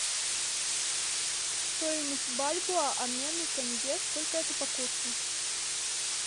стоимость бальбоа обмен на тенге сколько это по курсу